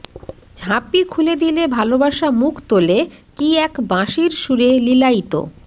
ঝাঁপি খুলে দিলে ভালোবাসা মুখ তোলে কী এক বাঁশির সুরে লীলায়িত